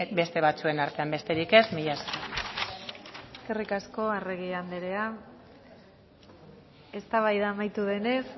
beste batzuen artean besterik ez mila esker eskerrik asko arregi andrea eztabaida amaitu denez